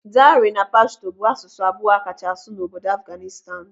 Dari na Pashto bụ asụsụ abụọ akachasi asụ n'obodo Afghanistan.